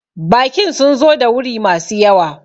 Bakin sun zo da wuri ma su yawa